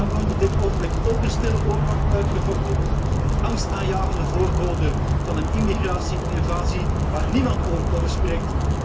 Daar wordt op dit ogenblik ook een stille oorlog uitgevochten, een angstaanjagende voorbode van een immigratie invasie waar niemand over spreekt.